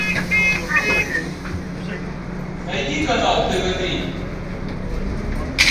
найди канал тв три